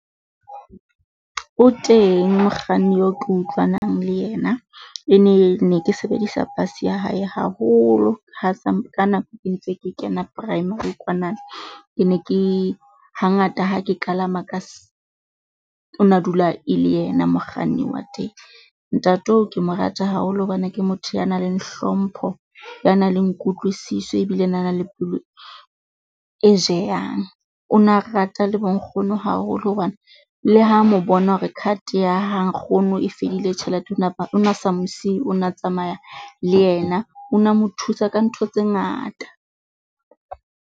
O teng mokganni eo ke utlwanang le yena, e ne ne ke sebedisa bus ya hae haholo ha sa ka nako ke ntse ke kena primary kwanana. Ke ne ke hangata ha ke kalama o na dula e le yena mokganni wa teng. Ntate oo ke mo rata haholo hobane ke motho ya nang le hlompho ya nang le kutlwisiso ebile na nale pelo e jeyang. O na rata le bonkgono haholo hobane le ha mo bona hore card ya ha nkgono e fedile tjhelete o na sa mo siyi, o na tsamaya le yena o na mo thusa ka ntho tse ngata.